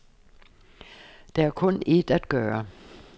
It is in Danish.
Der er kun et at gøre.